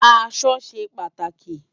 Aṣọ ṣé pàtáki